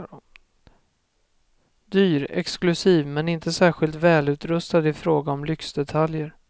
Dyr, exklusiv men inte särskilt välutrustad i fråga om lyxdetaljer.